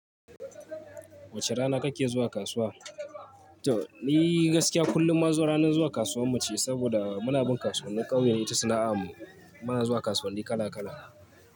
Wace rana kake zuwa kasuwa? To ni gaskiya kullum maza ranan zuwa kasuwar mu ce saboda muna bin kasuwannin ƙauyen ita sana'a mu. Muna zuwa kasuwanni kala kala.